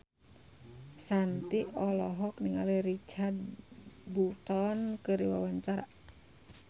Shanti olohok ningali Richard Burton keur diwawancara